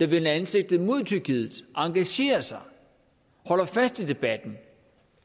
der vender ansigtet mod tyrkiet engagerer sig holder fast i debatten